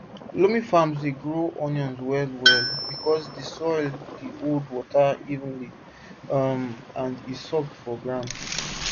loamy farms dey grow onions well well because di soil dey hold water evenly um and e soft for ground